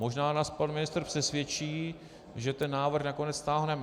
Možná nás pan ministr přesvědčí, že ten návrh nakonec stáhneme.